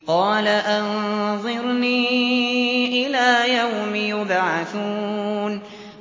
قَالَ أَنظِرْنِي إِلَىٰ يَوْمِ يُبْعَثُونَ